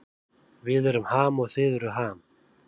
Við erum Ham og þið eruð Ham.